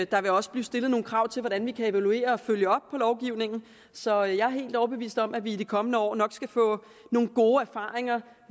der vil også blive stillet nogle krav til hvordan vi kan evaluere og følge op på lovgivningen så jeg er helt overbevist om at vi i de kommende år nok skal få nogle gode erfaringer